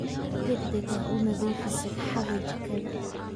Si degdeg ah u nadifii sagxada jikada